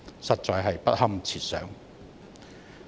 實在不堪設想。